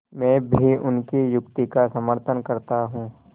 मैं भी उनकी युक्ति का समर्थन करता हूँ